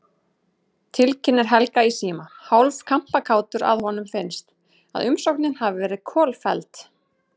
Tilkynnir Helga í síma, hálf kampakátur að honum finnst, að umsóknin hafi verið kolfelld.